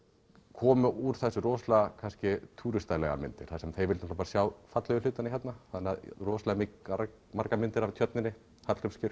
komu úr þessu rosalega kannski myndir þar sem þeir vildu bara sjá fallegu hlutina hérna rosalega margar myndir af tjörninni Hallgrímskirkju